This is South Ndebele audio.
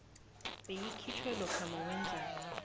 beyikhitjhwe lokha nawenze